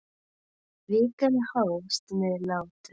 Vikan hófst með látum.